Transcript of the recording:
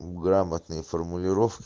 у грамотной формулировки